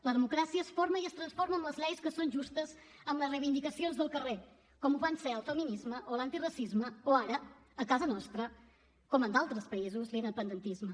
la democràcia es forma i es transforma amb les lleis que són justes amb les reivindicacions del carrer com ho van ser el feminisme o l’antiracisme o ara a casa nostra com en d’altres països l’independentisme